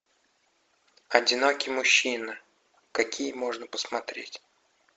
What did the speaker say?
одинокий мужчина какие можно посмотреть